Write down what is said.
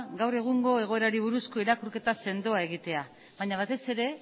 gaur egungo egoerari buruzko irakurketa sendoa egitea baina batez ere